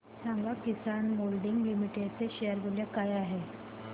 सांगा Kisan moulding limited चे share मूल्य काय आहे